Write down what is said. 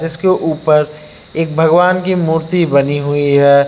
जिसके ऊपर एक भगवान की मूर्ति बनी हुई है।